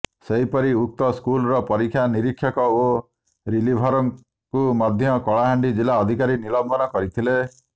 ସେହିପରି ଉକ୍ତ ସ୍କୁଲର ପରୀକ୍ଷା ନିରୀକ୍ଷକ ଓ ରିଲିଭରଙ୍କୁ ମଧ୍ୟ କଳାହାଣ୍ଡି ଜିଲ୍ଲା ଅଧିକାରୀ ନିଲମ୍ବନ କରିଥିଲେ